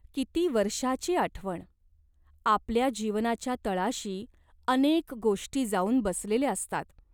किती वर्षाची आठवण ! आपल्या जीवनाच्या तळाशी अनेक गोष्टी जाऊन बसलेल्या असतात.